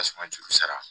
Tasuma juru sara